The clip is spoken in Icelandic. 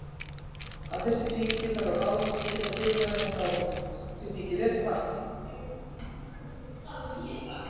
Að þessari tvíhyggju þarf að ráðast og þar getur guðfræðin haft áhrif.